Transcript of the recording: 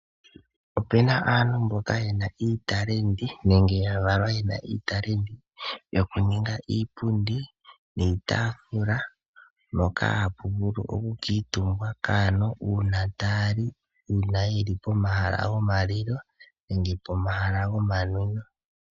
Opuna aantu mboka yena iitalendi ano ya valwa yena iitalendi oku ninga iipundi niitaafula mboka hapu vulu oku kuutumbwa kaantu uuna taya li, uuna yeli pomahala gomalilo nenge pomahala gomanwino.